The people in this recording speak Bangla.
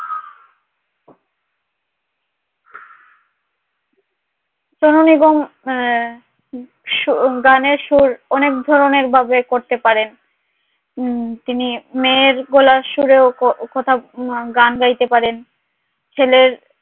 সোনু নিগমের গানের সুর অনেক ধরনের ভাবে করতে পারে তিনি মেয়ের গলার সুরেও কথা গান গাইতে পারেন ছেলের